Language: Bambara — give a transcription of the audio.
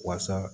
Waasa